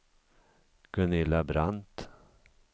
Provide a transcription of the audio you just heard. Gunilla Brandt